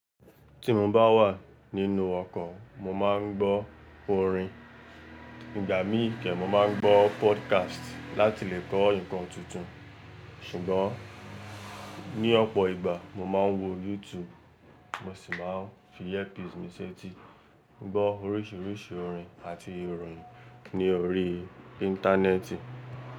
Tí mo bá wà nínú ọkọ̀, mo máa ń gbọ́ orin. Ìgbà mí kẹ́ mo máa ń gbọ́ podcast láti lè gbo ǹkan tuntun. Ṣùgbọ́n ní ọ̀pọ̀ ìgbà mo máa ń wo YouTube, mo sì máa ń fi earpiece mi séti gbọ́ oríṣìríṣì orin àti ìròyìn ní orí Íńtánẹ́ẹ̀tì.